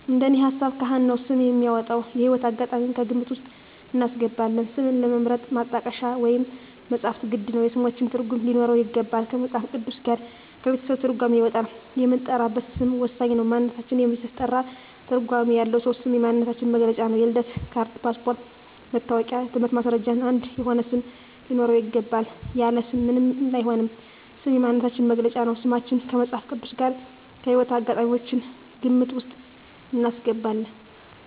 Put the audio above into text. እንደኔ ሀሳብ ካህን ነው ስም የሚያወጣው። የህይወት አጋጣሚም ከግምት ውስጥ እናስገባለን ስምን ለመምረጥ ማጣቀሻ ወይም መፅሀፍት ግድ ነው የስሞችን ትርጉም ሊኖረው ይገባል ከመፅሀፍ ቅዱስ ጋር ከቤተሰብ ትርጓሜ ይወጣል የምንጠራበት ስም ወሳኝ ነው ማንነታችን የሚያስጠራ ትርጓሜ ያለው ነው ስም የማንነታችን መግለጫ ነው የልደት ካርድ ,ፓስፓርቶች ,መታወቂያ የትምህርት ማስረጃችን አንድ የሆነ ስም ሊኖረው ይገባል። ያለ ስም ምንም አይሆንም ስም የማንነታችን መገለጫ ነው። ስማችን ከመፅሀፍ ቅዱስ ጋር ከህይወት አጋጣሚያችን ግምት ውስጥ እናስገባለን